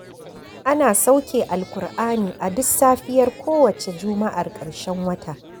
Ana sauke Alkur'ani a duk safiyar kowace Juma'ar ƙarshen wata.